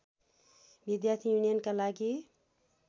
विद्यार्थी युनियनका लागि